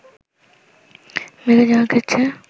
বেড়ে যাওয়ার ক্ষেত্রে